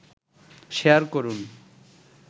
share করুন